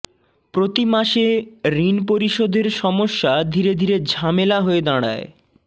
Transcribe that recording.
প্রতি মাসে ঋণ পরিশোধের সমস্যা ধীরে ধীরে ঝামেলা হয়ে দাঁড়ায়